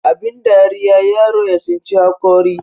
abin dariya yaro ya tsinci haƙori